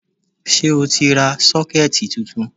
Ṣé o ti ra 'Sókẹ́ẹ̀tì ' titun